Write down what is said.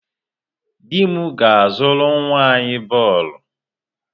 Di m ga-azụrụ nwa anyị bọọlụ.